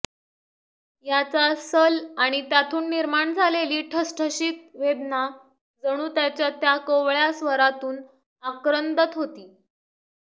याचा सल आणि त्यातून निर्माण झालेली ठसठशीत वेदना जणू त्याच्या त्या कोवळ्या स्वरातून आक्रंदत होती